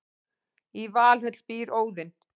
í valhöll býr óðinn